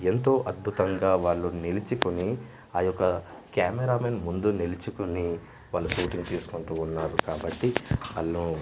ఎంతో అద్భుతంగా వాళ్ళు నిలిచికొని ఆ యొక్క కెమెరామెన్ ముందు నిలుచుకుని వాళ్లు షూటింగ్ తీసుకుంటూ ఉన్నారు కాబట్టి హల్లో .